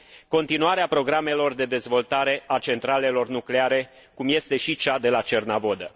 continuarea programelor de dezvoltare a centralelor nucleare, cum este și cea de la Cernavodă.